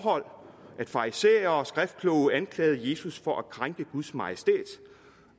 farisæer og skriftkloge anklagede jesus for at krænke guds majestæt